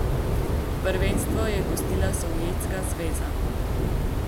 Prvenstvo je gostila Sovjetska zveza.